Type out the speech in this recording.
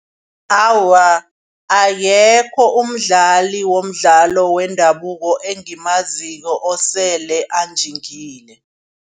Awa akekho umdlali womdlalo wendabuko engimaziko osele anjingile.